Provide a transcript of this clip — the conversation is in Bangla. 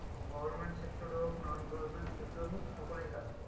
Government sector এ হোক non government sector এ হোক সকলেই কাজ করে